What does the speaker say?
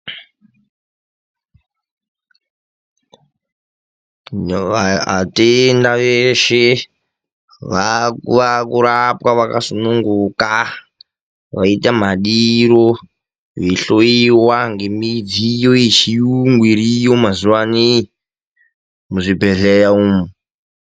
Atenda veshe vaakurapwa vakasungunguka , veiita madiro veihloiwa ngemidziyo yechiyungu iriyo mazuvano iyi, muzvibhedhlera umu.